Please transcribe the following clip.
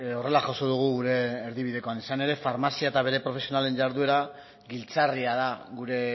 horrela jaso dugu gure erdibidekoan izan ere farmazia eta bere profesionalen jarduera giltzarria da gure